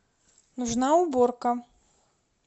нужна уборка